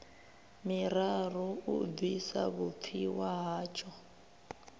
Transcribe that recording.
miraru u bvisa vhupfiwa hatsho